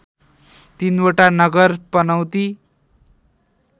तिनवटा नगर पनौती